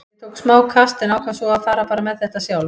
Ég tók smá kast en ákvað svo bara að fara með þetta sjálf.